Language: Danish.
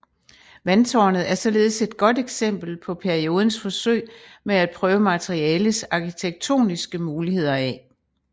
Vandtårnet er således et godt eksempel på periodens forsøg med at prøve materialets arkitektoniske muligheder af